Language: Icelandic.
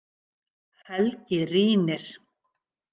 Helgi rýnir.